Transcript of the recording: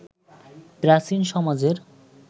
প্রাচীন সমাজের